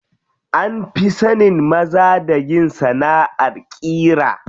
An fi sanin maza da yin sanaʼar ƙira.